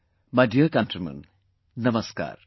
My dear countrymen, Namaskar